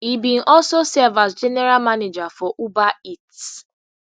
e bin also serve as general manager for uber eats